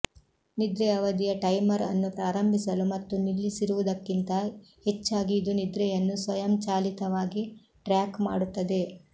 ನಿದ್ರೆ ಅವಧಿಯ ಟೈಮರ್ ಅನ್ನು ಪ್ರಾರಂಭಿಸಲು ಮತ್ತು ನಿಲ್ಲಿಸಿರುವುದಕ್ಕಿಂತ ಹೆಚ್ಚಾಗಿ ಇದು ನಿದ್ರೆಯನ್ನು ಸ್ವಯಂಚಾಲಿತವಾಗಿ ಟ್ರ್ಯಾಕ್ ಮಾಡುತ್ತದೆ